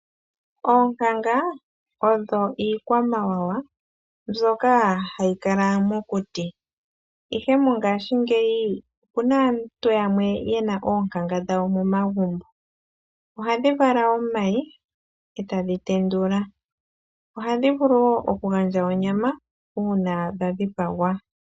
Oonkanga odho iikwamawawa mbyoka hati kala momokuti, ihe mongashingeyi opu na aantu yamwe mboka ye na oonkanga dhawo momagumbo. Ohadhi vala omayi, eta dhi tendula. Ohadhi vulu wo okugandja onyama uuna dha dhipagwa.